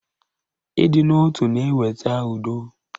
Ịdị n'otu na-eweta udo